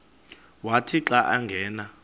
wathi xa angena